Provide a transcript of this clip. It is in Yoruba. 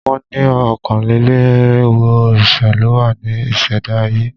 Wọ́n ni ọ̀kánlénírinwó òrìṣà ló wá ní ìṣẹ̀dá ayé